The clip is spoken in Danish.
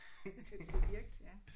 Et subjekt ja